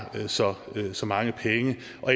så så mange penge